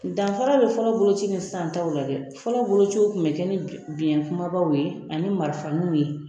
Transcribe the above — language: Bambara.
Danfara bɛ fɔlɔ boloci ni sisan taw la dɛ fɔlɔ boloci tun bɛ kɛ biyɛ kubabaw ye ani marifaninw ye